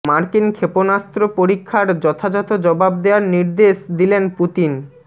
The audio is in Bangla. মার্কিন ক্ষেপণাস্ত্র পরীক্ষার যথাযথ জবাব দেয়ার নির্দেশ দিলেন পুতিন